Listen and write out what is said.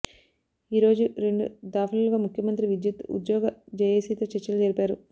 ఈ రోజు రెండు దాఫలుగా ముఖ్యమంత్రి విధ్యుత్ ఉద్యోగ జేఏసీతో చర్చలు జరిపారు